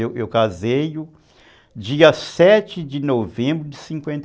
Eu casei dia sete de novembro de cinquenta e